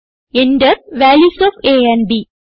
Enter values of a and b